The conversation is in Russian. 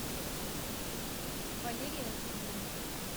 валерия зубленко